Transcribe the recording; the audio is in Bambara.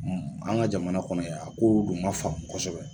An ka jamana kɔnɔ yan kow dun ma faamu kosɛbɛ